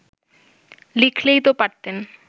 লিখলেই তো পারতেন